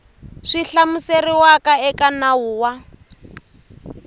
swi hlamuseriwaka eka nawu wa